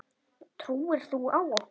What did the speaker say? Trúir þú á okkur?